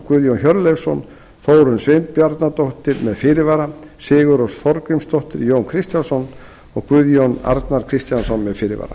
guðjón hjörleifsson þórunn sveinbjarnardóttir með fyrirvara sigurrós þorgrímsdóttir jón kristjánsson og guðjón a kristjánsson með fyrirvara